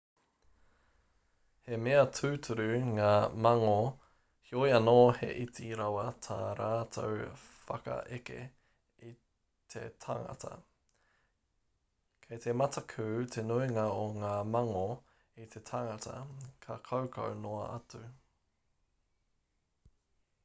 he mea tūturu ngā mangō heoi anō he iti rawa tā rātou whakaeke i te tangata kei te mataku te nuinga o ngā mangō i te tangata ka kaukau noa atu